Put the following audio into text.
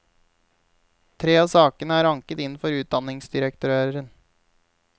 Tre av sakene er anket inn for utdanningsdirektøren.